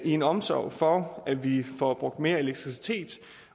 i en omsorg for at vi får brugt mere elektricitet